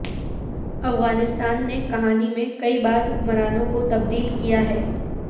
افغانستان نے کہانی میں کئی بار حکمرانوں کو تبدیل کیا ہے